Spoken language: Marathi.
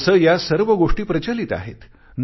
तसे या सर्व गोष्टी प्रचलित आहेत